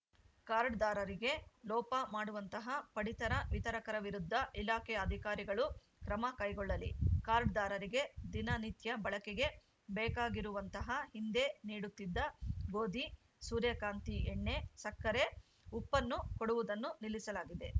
ಕಾರ್ಡ್‌ದಾರರಿಗೆ ಲೋಪ ಮಾಡುವಂತಹ ಪಡಿತರ ವಿತರಕರ ವಿರುದ್ಧ ಇಲಾಖೆಯ ಅಧಿಕಾರಿಗಳು ಕ್ರಮಕೈಗೊಳ್ಳಲಿ ಕಾರ್ಡ್‌ದಾರರಿಗೆ ದಿನ ನಿತ್ಯ ಬಳಕೆಗೆ ಬೇಕಾಗಿರುವಂತಹ ಹಿಂದೆ ನೀಡುತ್ತಿದ್ದ ಗೋಧಿ ಸೂರ್ಯಕಾಂತಿ ಎಣ್ಣೆ ಸಕ್ಕರೆ ಉಪ್ಪನ್ನು ಕೊಡುವುದನ್ನು ನಿಲ್ಲಿಸಲಾಗಿದೆ